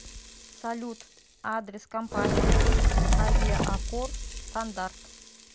салют адрес компании ук авиакор стандарт